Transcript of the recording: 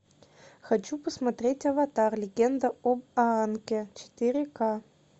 хочу посмотреть аватар легенда об аанге четыре ка